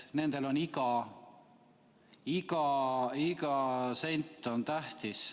Nendele on iga sent tähtis.